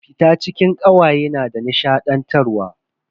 Fita cikin kawaye na da nishadantarwa.